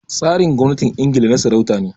Tsarin gwamnatin Ingila na sarauta ne